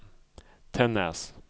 Tännäs